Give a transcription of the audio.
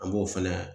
An b'o fɛnɛ